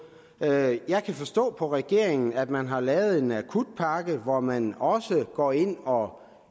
jeg jeg kan forstå på regeringen at man har lavet en akutpakke hvor man også går ind og